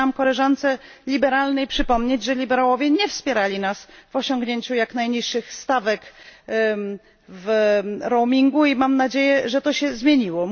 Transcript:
Chciałabym koleżance z grupy Liberałów przypomnieć, że Liberałowie nie wspierali nas w osiągnięciu jak najniższych stawek w roamingu i mam nadzieję, że to się zmienił.